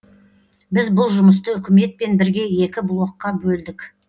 біз бұл жұмысты үкіметпен бірге екі блокқа бөлдік